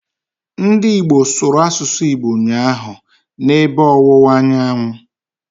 Ndị Igbo sụrụ asụsụ Igbo ụnyaahụ, na ebe ọwụwa anyanwụ